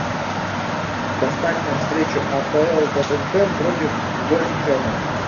поставь нам встречу апл тоттенхэм против вест хэма